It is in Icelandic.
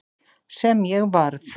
Sem ég varð.